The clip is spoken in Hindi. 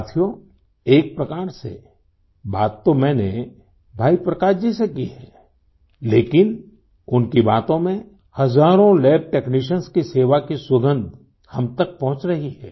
साथियों एक प्रकार से बात तो मैंने भाई प्रकाश जी से की है लेकिन उनकी बातों में हजारों लैब टेक्नीशियन्स की सेवा की सुगंध हम तक पहुँच रही है